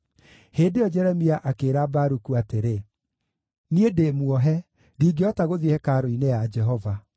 Hĩndĩ ĩyo Jeremia akĩĩra Baruku atĩrĩ, “Niĩ ndĩmuohe; ndingĩhota gũthiĩ hekarũ-inĩ ya Jehova.